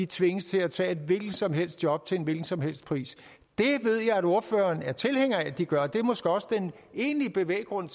tvinges til at tage et hvilket som helst job til en hvilken som helst pris det ved jeg at ordføreren er tilhænger af at de gør og det er måske også den egentlige bevæggrund